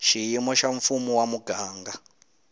xiyimo xa mfumo wa muganga